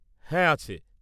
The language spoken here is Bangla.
-হ্যাঁ আছে।